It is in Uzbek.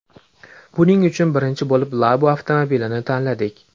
Buning uchun birinchi bo‘lib Labo avtomobilini tanladik.